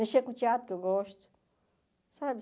Mexer com o teatro que eu gosto.